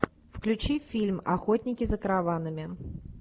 включи фильм охотники за караванами